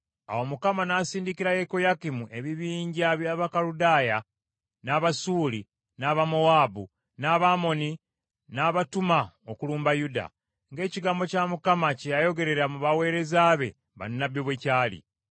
Awo Mukama n’asindikira Yekoyakimu ebibinja by’Abakaludaaya, n’Abasuuli, n’Abamowaabu, n’Abamoni, n’abatuma okulumba Yuda, ng’ekigambo kya Mukama kye yayogerera mu baweereza be bannabbi bwe kyali.